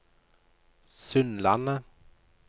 Sundlandet